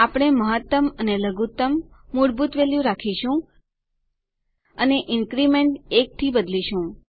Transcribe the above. આપણે મહત્તમ અને લઘુત્તમ મૂળભૂત વેલ્યુ રાખીશું અને ઇન્ક્રીમેન્ટ 1 થી બદલીશું